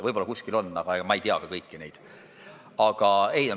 Võib-olla kuskil on, ma ei tea neid kõiki.